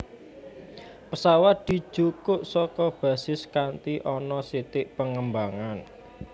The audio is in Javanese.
Pesawat dijukuk saka basis kanti ana sithik pengembangan